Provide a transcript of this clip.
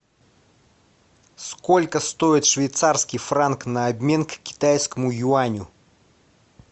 сколько стоит швейцарский франк на обмен к китайскому юаню